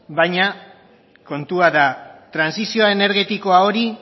baina kontua da trantsizioa energetikoa hori